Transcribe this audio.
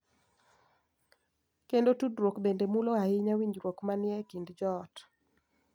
Kendo tudruok bende mulo ahinya winjruok ma ni e kind joot.